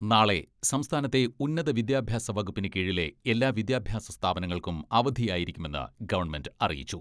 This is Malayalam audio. നാളെ സംസ്ഥാനത്തെ ഉന്നത വിദ്യാഭ്യാസ വകുപ്പിന് കീഴിലെ എല്ലാ വിദ്യാഭ്യാസ സ്ഥാപനങ്ങൾക്കും അവധിയായിരിക്കുമെന്ന് ഗവൺമെന്റ് അറിയിച്ചു.